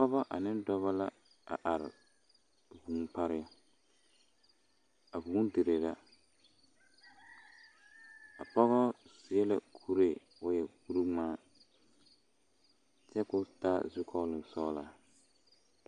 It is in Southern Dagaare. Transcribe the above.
Pɔge ane dɔbɔ la are a vūū pareŋ a vūū dire la pɔgɔ seɛ la kuree k'o e kuriŋmaa kyɛ ka o taa zukɔɔloŋ sɔglɔ.